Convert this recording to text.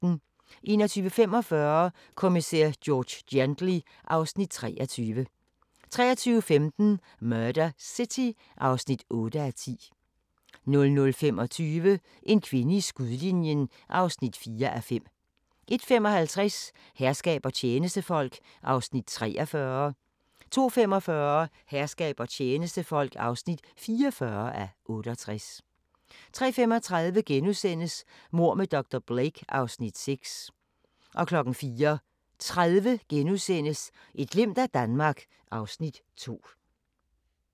21:45: Kommissær George Gently (Afs. 23) 23:15: Murder City (8:10) 00:25: En kvinde i skudlinjen (4:5) 01:55: Herskab og tjenestefolk (43:68) 02:45: Herskab og tjenestefolk (44:68) 03:35: Mord med dr. Blake (Afs. 6)* 04:30: Et glimt af Danmark (Afs. 2)*